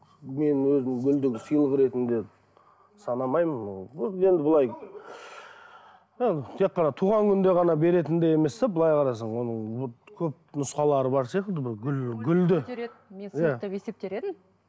мен өзім гүлді сыйлық ретінде санамаймын ол енді ы былай ы тек қана туған күнде ғана беретіндей емес те былай қарасаң оның көп нұсқалары бар сияқты гүл гүлді мен сыйлық деп есептер едім